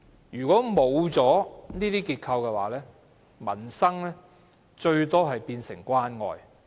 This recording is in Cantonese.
如果欠缺這些結構，民生最多只可變成關愛。